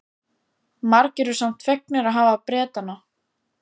Margir eru samt fegnir að hafa Bretana.